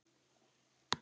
Húrra, húrra, húrra!